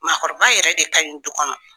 Maakɔrɔba yɛrɛ de kaɲi du kɔnɔ.